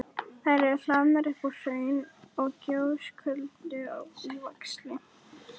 Þær eru hlaðnar upp úr hraun- og gjóskulögum á víxl.